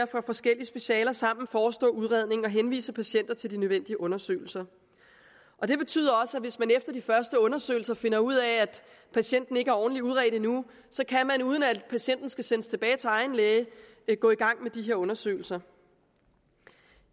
fra forskellige specialer sammen forestå udredningen og henvise patienter til de nødvendige undersøgelser og det betyder også at hvis man efter de første undersøgelser finder ud af at patienten ikke er ordentligt udredt endnu så kan man uden at patienten skal sendes tilbage til egen læge gå i gang med de undersøgelser